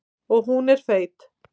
Og hún er feit.